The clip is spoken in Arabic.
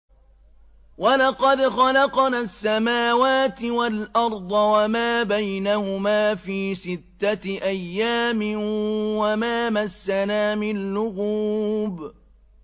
وَلَقَدْ خَلَقْنَا السَّمَاوَاتِ وَالْأَرْضَ وَمَا بَيْنَهُمَا فِي سِتَّةِ أَيَّامٍ وَمَا مَسَّنَا مِن لُّغُوبٍ